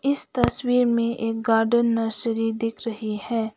इस तस्वीर में एक गार्डन नर्सरी दिख रही है।